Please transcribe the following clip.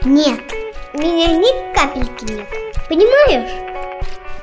нет меня ни капельки нет понимаешь